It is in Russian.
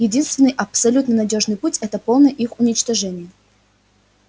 единственный абсолютно надёжный путь это полное их уничтожение